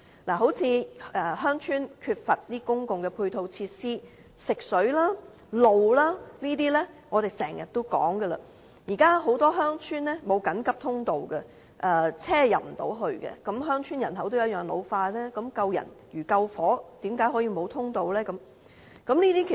例如鄉村欠缺公共配套設施，如食水、道路等問題，我們經常提出，現時很多鄉村沒有緊急通道，車輛無法進入，鄉村人口同樣會老化，救人如救火，為何可以沒有通道呢？